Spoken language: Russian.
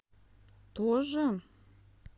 тоже